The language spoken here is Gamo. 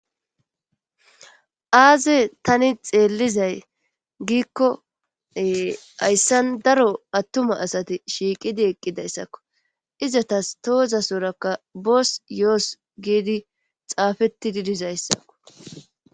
Aaze tani xeellizay giikkoe hayssan daro attuma asati shiiqidi eqqidayssakko izatas tooza sorakka bos yoos giidi xaafeti didizayssakko.